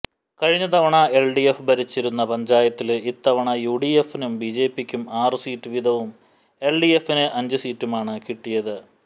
കഴിഞ്ഞ തവണ എല്ഡിഎഫ് ഭരിച്ചിരുന്ന പഞ്ചായത്തില് ഇത്തവണ യുഡിഎഫിനും ബിജെപിക്കും ആറു സീറ്റ് വീതവും എല്ഡിഎഫിന് അഞ്ചു സീറ്റുമാണ് കിട്ടിയത്